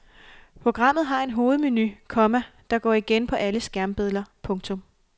Programmet har en hovedmenu, komma der går igen på alle skærmbilleder. punktum